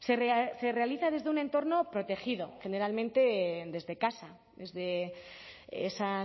se realiza desde un entorno protegido generalmente desde casa desde esa